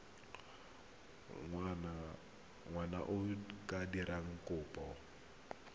ngwana a ka dira kopo